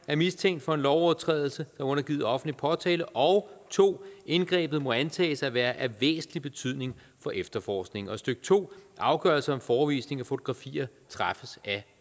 er mistænkt for en lovovertrædelse er undergivet offentlig påtale og 2 indgrebet må antages at være af væsentlig betydning for efterforskningen og stykke to afgørelse om forevisning af fotografier træffes af